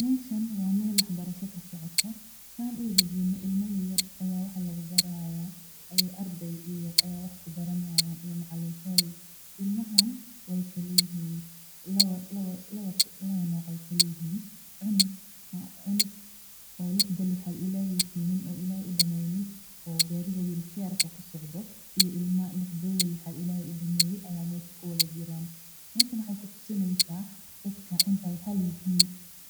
Meeshan waa meel wax barasho ilma yaryar ayaa wax lagu bari haaya ilmaha waay kala yihiin cunug lixda lixaad qabin iyo kuwa qabaan waxaay ku tusi haysa dadka inaay isku mid yihiin